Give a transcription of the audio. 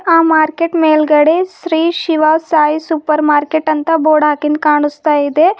ಆ ಮಾರ್ಕೆಟ್ ಮೇಲ್ಗಡೆ Shri Shiva Sai supermarket ಅಂತ ಬೋರ್ಡ್ ಹಾಕಿಂದ್ ಕಾಣಿಸ್ತಾ ಇದೆ.